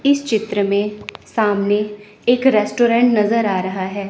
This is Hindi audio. इस चित्र में सामने एक रेस्टोरेंट नजर आ रहा है।